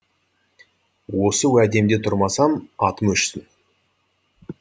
осы уәдемде тұрмасам атым өшсін